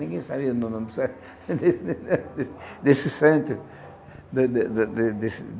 Ninguém sabia o no nome desse desse centro de de de desse.